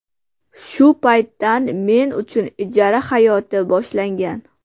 Shu paytdan men uchun ijara hayoti boshlangan.